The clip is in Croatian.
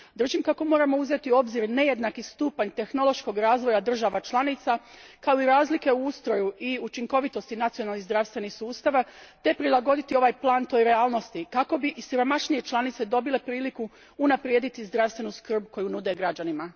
Držim kako moramo uzeti u obzir nejednaki stupanj tehnološkog razvoja država članica, kao i razlike u ustroju i učinkovitosti nacionalnih zdravstvenih sustava, te prilagoditi ovaj plan toj realnosti kako bi i siromašnije članice dobile priliku unaprijediti zdravstvenu skrb koju nude građanima.